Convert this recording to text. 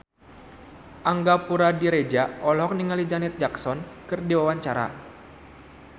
Angga Puradiredja olohok ningali Janet Jackson keur diwawancara